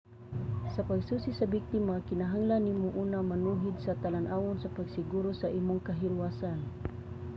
sa pagsusi sa biktima kinahanglan nimo una manuhid sa talan-awon sa pagsiguro sa imong kahilwasan